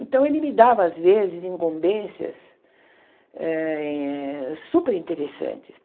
Então, ele me dava, às vezes, incumbências eh superinteressantes.